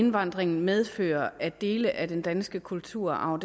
indvandring medfører at dele af den danske kulturarv